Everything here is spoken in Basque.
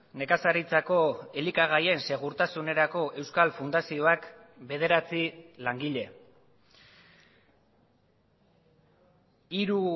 nekazaritzako elikagaien segurtasunerako euskal fundazioak bederatzi langile hiru